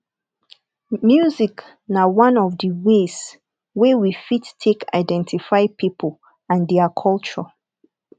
music na one of di ways wey we fit take identify pipo and their culture